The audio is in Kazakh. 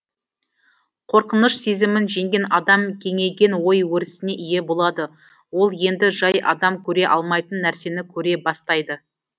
қорқыныш сезімін жеңген адам кеңейген ой өрісіне ие болады ол енді жай адам көре алмайтын нәрсені көре бастайды